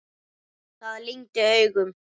Það lygndi augum.